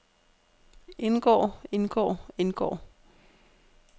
indgår indgår indgår